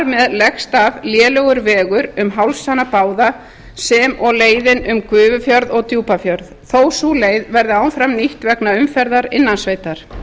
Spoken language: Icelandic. með leggst af lélegur vegur um hálsana báða sem og leiðin um gufufjörð og djúpafjörð þó sú leið verði áfram nýtt vegna umferðar innan sveitar